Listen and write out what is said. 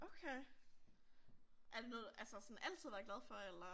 Okay er det noget du altså sådan altid har været glad for eller?